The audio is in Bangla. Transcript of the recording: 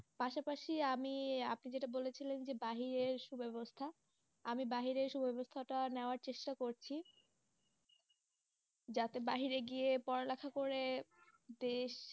পাশাপাশি আমি আপনি যেটা বলেছিলেন যে বাহিরের সুব্যবস্থা, আমি বাহিরের সুব্যবস্থাটা নেওয়ার চেষ্টা করছি যাতে বাহিরে গিয়ে পড়ালেখা করে দেশ